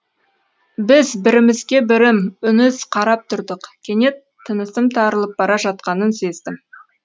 біз бірімізге бірім үніз қарап тұрдық кенет тынысым тарылып бара жатқанын сездім